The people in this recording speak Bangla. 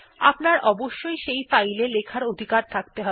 আপনার অবশ্যই সেই ফাইল এ লেখার অধিকার থাকতে হবে